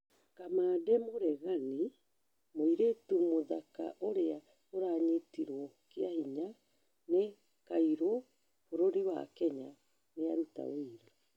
Kamande mũregani: mũirĩtũ mũthaka 'ũrĩa ũranyitirwo kĩahinya' nĩ kairu bũrũri wa Kenya nĩaruta ũira